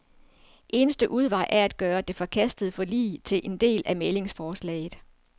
Eneste udvej er at gøre det forkastede forlig til en del af mæglingsforslaget.